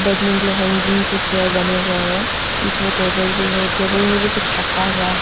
बैठने के लिए हैंगिंग से चेयर बने हुए हैं बीच में टेबल भी है टेबल में भी कुछ रखा हुआ है।